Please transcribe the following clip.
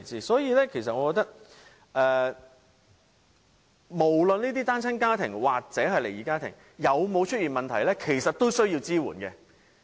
所以，我覺得無論這些單親家庭或離異家庭有沒有出現問題，我們都需要提供支援。